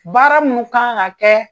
Baara munu kan ka kɛ